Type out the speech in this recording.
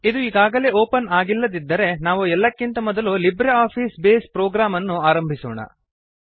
ಇದು ಈಗಾಗಲೇ ಓಪನ್ ಆಗಿಲ್ಲದಿದ್ದರೆ ನಾವು ಎಲ್ಲಕ್ಕಿಂತ ಮೊದಲು ಲಿಬ್ರೆ ಆಫೀಸ್ ಬೇಸ್ ಪ್ರೋಗ್ರಾಮ್ ಅನ್ನು ಆರಂಭಿಸೋಣ